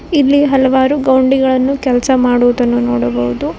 ಇಲ್ಲಿ ಹಲವಾರು ಗೌಂಡಿಗಳನ್ನು ಕೆಲಸ ಮಾಡುವುದನ್ನು ನೋಡಬಹುದು.